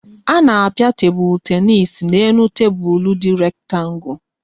A na-a pịa tebụl tenis n' elu tebụl dị rektangu